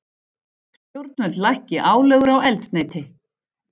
Stjórnvöld lækki álögur á eldsneyti